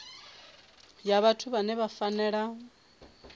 ya vhathu vhane vha fanela